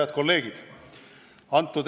Head kolleegid!